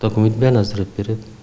документтің бәрін әзірлеп береді